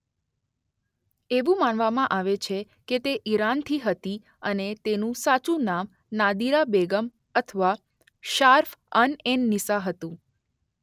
એવું માનવામાં આવે છે કે તે ઈરાનથી હતી અને તેનું સાચું નામ નાદીરા બેગમ અથવા શાર્ફ અનએનનિસ્સા હતું.